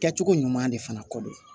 Kɛcogo ɲuman de fana kɔ don